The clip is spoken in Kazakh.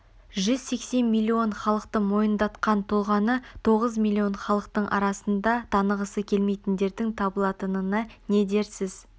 жүз сексен миллион халықты мойындатқан тұлғаны тоғыз миллион халықтың арасында танығысы келмейтіндердің табылатынына не дерсіз